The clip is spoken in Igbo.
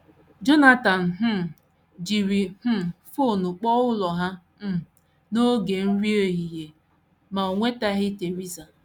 Jonathan um jiri um fon kpọọ ụlọ ha um n’oge nri ehihie, ma o nwetaghị Theresa.